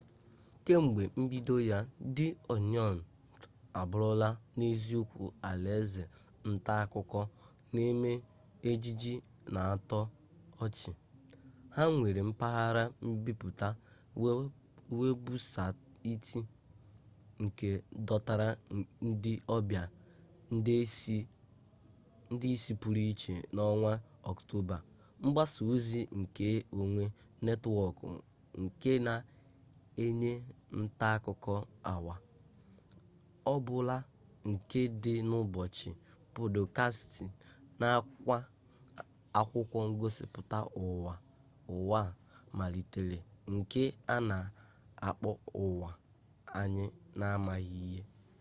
kemgbe mbido ya di oniọn abụrụla n'eziokwu alaeze ntaakụkọ na eme ejije n'atọ ọchị ha nwere mpaghara mbipụta webụsaịtị nke dọtara ndị ọbịa nde ise pụrụ iche n'ọnwa ọktoba mgbasa ozi nke onwe netwọkụ nke na-enye ntaakụkọ awa ọbula nke dị n'ụbọchị pọdkastị nakwa akwụkwọ ngosipụta ụwa a malitere nke a na akpọ ụwa anyị n'amaghị ihe